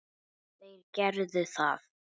Þeir gerðu það.